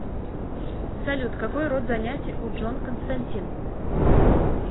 салют какой род занятий у джон константин